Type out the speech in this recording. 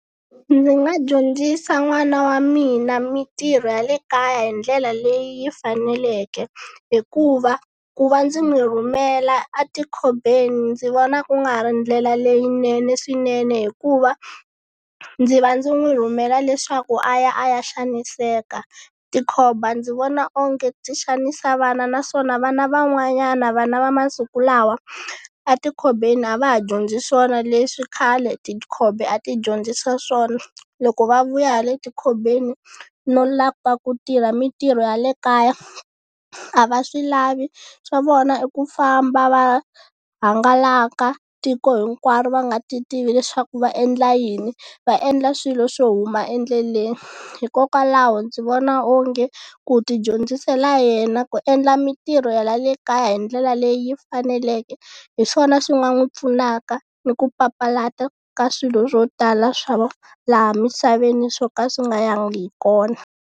Ndzi nga dyondzisa n'wana wa mina mintirho ya le kaya hi ndlela leyi yi faneleke. Hikuva ku va ndzi n'wi rhumela a tikhombeni ndzi vona ku nga ha ri ndlela leyinene swinene, hikuva ndzi va ndzi n'wi rhumela leswaku a ya a ya xaniseka. Tikhomba ndzi vona onge ti xanisa vana naswona vana van'wanyana vana va masiku lawa a tikhombeni a va ha dyondzi swona leswi khale tikhomba a ti dyondzisa swona, loko va vuya hi le tikhombeni no lava ku tirha mintirho ya le kaya a va swi lavi swa vona i ku famba va hangalaka tiko hinkwaro, va nga ti tivi leswaku va endla yini va endla swilo swo huma endleleni. Hikokwalaho ndzi vona onge ku ti dyondzisela yena ku endla mintirho ya le kaya hi ndlela leyi faneleke hi swona swi nga n'wi pfunaka ni ku papalata ka swilo swo tala swa laha misaveni swo ka swi nga yangi hi kona.